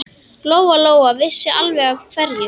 Lóa-Lóa vissi alveg af hverju.